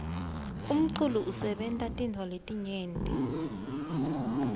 umculo usebenta tintfo letinyenti